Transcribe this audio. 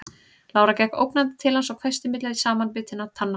Lára gekk ógnandi til hans og hvæsti milli samanbitinna tanna